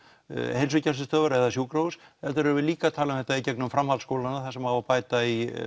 heilsugæslustöðvar eða sjúkrahús heldur erum við líka að tala um að þetta í gegnum framhaldsskólanna þar sem á að bæta í